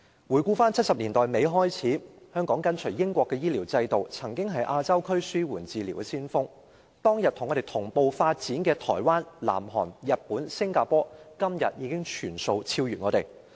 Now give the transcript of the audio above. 回顧自1970年代末，香港跟隨英國的醫療制度，曾是亞洲區紓緩治療的先鋒，但當天和我們同步發展的台灣、南韓、日本和新加坡，今天已全部超越我們。